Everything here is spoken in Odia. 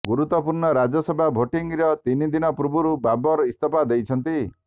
ଗୁରୁତ୍ୱପୂର୍ଣ୍ଣ ରାଜ୍ୟସଭା ଭୋଟିଙ୍ଗ୍ର ତିନି ଦିନ ପୂର୍ବରୁ ବବର ଇସ୍ତଫା ଦେଇଛନ୍ତି